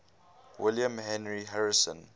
william henry harrison